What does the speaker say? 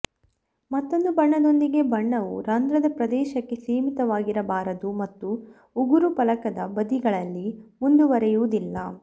ಮತ್ತೊಂದು ಬಣ್ಣದೊಂದಿಗೆ ಬಣ್ಣವು ರಂಧ್ರದ ಪ್ರದೇಶಕ್ಕೆ ಸೀಮಿತವಾಗಿರಬಾರದು ಮತ್ತು ಉಗುರು ಫಲಕದ ಬದಿಗಳಲ್ಲಿ ಮುಂದುವರೆಯುವುದಿಲ್ಲ